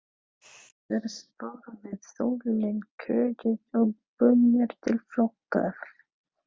Fyrst voru viðtölin kóðuð og búnir til flokkar.